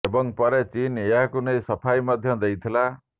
ଏବଂ ପରେ ଚୀନ ଏହାକୁ ନେଇ ସଫାଇ ମଧ୍ୟ ଦେଇଥିଲା